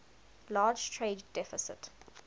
large trade deficit